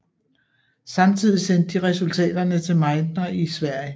Samtidigt sendte de resultaterne til Meitner i Sverige